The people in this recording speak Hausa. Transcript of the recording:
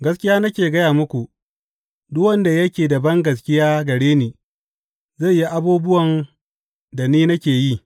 Gaskiya nake gaya muku, duk wanda yake da bangaskiya gare ni, zai yi abubuwan da ni nake yi.